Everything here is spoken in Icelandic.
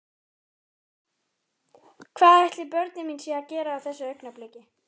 Hvað ætli börnin mín séu að gera á þessu augnabliki?